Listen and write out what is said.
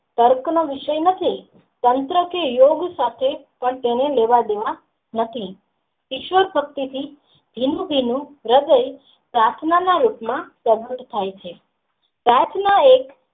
કર્ક નો વિષય નથી તંત્ર થી યોગ સાથે તેને લેવા દેવા નથી ઈશ્વર પ્રત્યે ની હૃદય પ્રાર્થના ના રૂપ માં સમૃદ્ધ થાય છે પ્રાર્થના એ.